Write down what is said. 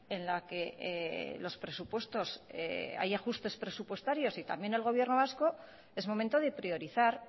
en la que los presupuestos hay ajustes presupuestarios y también el gobierno vasco es momento de priorizar